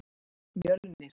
Mjölnir